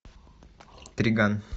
триган